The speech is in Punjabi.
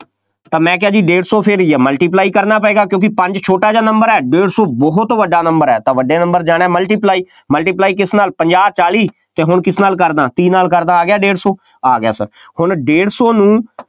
ਤਾਂ ਮੈਂ ਕਿਹਾ ਜੀ ਡੇਢ ਸੌ ਫੇਰ ਜਾਂ multiply ਕਰਨਾ ਪਏਗਾ, ਕਿਉਂਕਿ ਪੰਜ ਛੋਟਾ ਜਿਹਾ number ਹੈ, ਡੇਢ ਸੌ ਬਹੁਤ ਵੱਡਾ number ਹੈ, ਤਾਂ ਵੱਡੇ number 'ਚ ਜਾਣਾ multiply multiply ਕਿਸ ਨਾਲ ਪੰਜਾਹ, ਚਾਲੀ ਅਤੇ ਹੁਣ ਕਿਸ ਨਾਲ ਕਰ ਦਿਆਂ, ਤੀਹ ਨਾਲ ਕਰ ਦਿਆਂ, ਆ ਗਿਆ ਡੇਢ ਸੌੌ, ਆ ਗਿਆ Sir ਹੁਣ ਡੇਢ ਸੌ ਨੂੰ